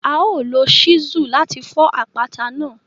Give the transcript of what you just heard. A o lo Ṣísù láti fọ àpáta náà